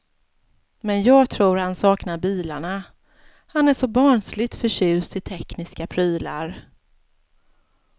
Men jag tror han saknar bilarna, han är så barnsligt förtjust i tekniska prylar.